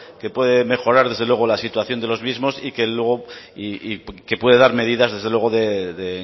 que puede mejorar desde luego la situación de los mismos y que puede dar medidas desde luego de